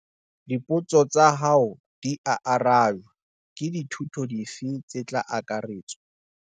Dipotso tsa hao dia arajwa. Ke dithuto dife tse tla akaretswa?